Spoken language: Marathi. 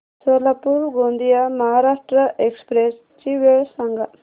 सोलापूर गोंदिया महाराष्ट्र एक्स्प्रेस ची वेळ सांगा